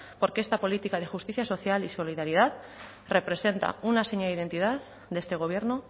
porque esta política de justicia social y solidaridad representa una seña de identidad de este gobierno